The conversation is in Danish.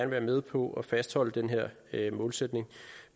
være med på at fastholde den her målsætning